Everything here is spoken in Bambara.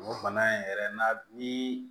O bana in yɛrɛ na ni